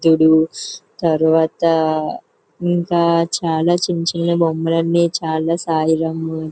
బుద్ధుడు తర్వాత ఇంకా చాల చిన్న చిన్న బొమ్మలన్నీ చాల సాయిరాం--